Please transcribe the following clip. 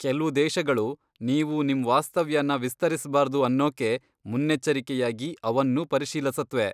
ಕೆಲ್ವು ದೇಶಗಳು ನೀವು ನಿಮ್ ವಾಸ್ತವ್ಯನ ವಿಸ್ತರಿಸ್ಬಾರ್ದು ಅನ್ನೋಕೆ ಮುನ್ನೆಚ್ಚರಿಕೆಯಾಗಿ ಅವನ್ನೂ ಪರಿಶೀಲಿಸತ್ವೆ.